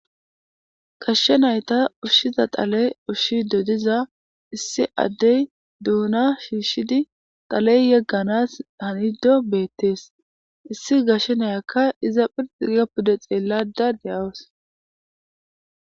Gashshe nayta ushshiza xaley ushshi dodiza issi addey duuna shiishshidi taley yegganas hanido beettees issi gashshe nayakka iza phirxi gapude xeellada de7awos